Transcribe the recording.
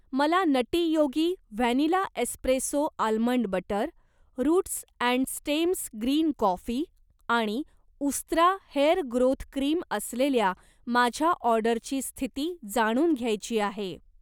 मला Nutty Yogi vanilla espresso almond butter, roots and stems green coffee आणि Ustraa hair growth cream असलेल्या माझ्या ऑर्डरची स्थिती जाणून घ्यायची आहे.